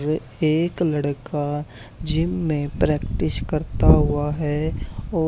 ये एक लड़का जिम में प्रैक्टिस करता हुआ है औ--